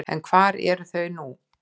En hvar eru þau nú?